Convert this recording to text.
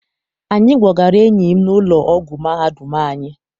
Anyị gbọgara enyi m n'ụlọ ọgwụ mahadum anyị.